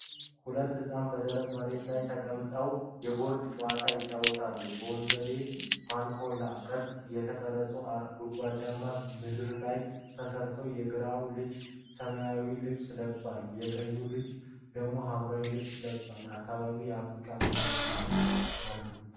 ሁለት ህፃናት በደረቅ መሬት ላይ ተቀምጠው የቦርድ ጨዋታ ይጫወታሉ። በወንበዴ (ማንካላ) ቅርፅ የተቀረጹ ጉድጓዶች በምድር ላይ ተሰራርተዋል። የግራው ልጅ ሰማያዊ ልብስ ለብሷል፣ የቀኙ ልጅ ደግሞ ሐምራዊ ልብስ ለብሷል። በአካባቢው የአፍሪካ መንደር ቤቶች አሉ።